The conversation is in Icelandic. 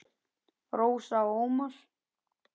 Rósa og Ómar.